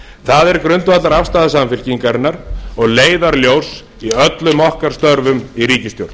það er grundvallarafstaða samfylkingarinnar og leiðarljós í öllum okkar störfum í ríkisstjórn